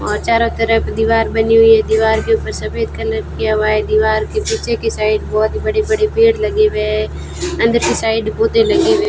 वहां चारों तरफ दीवार बनी हुई है दीवार के ऊपर सफेद कलर किया हुआ दीवार के पीछे की साइड बहुत बड़े बड़े पेड़ लगे हुए है अंदर की साइड पौधे लगे हुए --